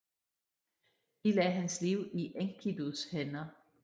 De lagde hans liv i Enkidus hænder